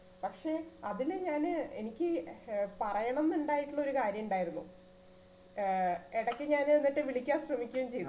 പക്ഷെ അതില് ഞാന് എനിക്ക് ഏർ പറയണന്നുണ്ടായിട്ടുള്ള ഒരു കാര്യിണ്ടായിരുന്നു ഏർ ഇടക്ക് ഞാന് എന്നിട്ട് വിളിക്കാൻ ശ്രമിക്കേം ചെയ്തു